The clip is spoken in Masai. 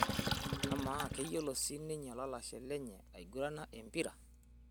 Amaa, keyiolo sii ninye olalashe lenye aigurana empira?